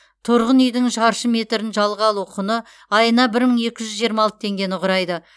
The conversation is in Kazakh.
тұрғын үйдің шаршы метрін жалға алу құны айына бір мың екі жүз жиырма алты теңгені құрайды